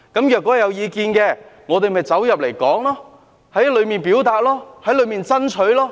如果有意見，我們便在小組委員會討論、表達及爭取。